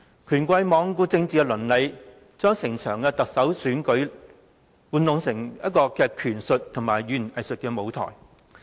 權貴罔顧政治倫理，將整場特首選舉變成玩弄權術和語言偽術的舞台。